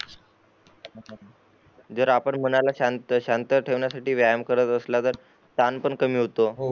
जर आपण मनाला शांत शांत ठेवण्या साठी व्यायाम करत असला तर ताण पण कमी होतो